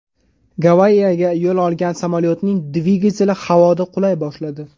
Gavayiga yo‘l olgan samolyotning dvigateli havoda qulay boshladi.